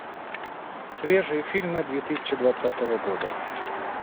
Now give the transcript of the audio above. свежие фильмы две тысячи двадцатого года